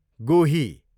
गोही